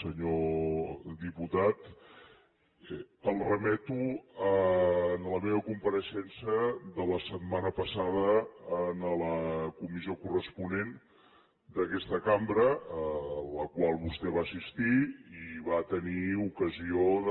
senyor diputat el remeto a la meva compareixença de la setmana passada en la comissió corresponent d’aquesta cambra a la qual vostè va assistir i va tenir ocasió de